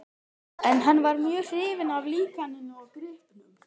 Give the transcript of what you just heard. En hann var mjög hrifinn af líkaninu og gripnum.